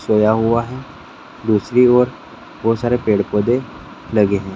सोया हुआ है दूसरी ओर बहुत सारे पेड़-पौधे लगे हैं।